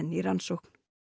í rannsókn